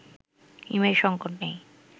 image সংকট নেই